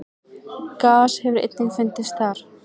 Gas hefur einnig fundist þar.